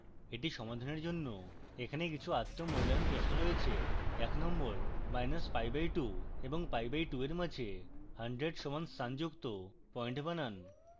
এটি সমাধানের জন্য এখানে কিছু আত্ম মূল্যায়ন প্রশ্ন রয়েছে